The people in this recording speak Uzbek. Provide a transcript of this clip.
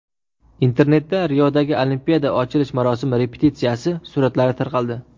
Internetda Riodagi Olimpiada ochilish marosimi repetitsiyasi suratlari tarqaldi .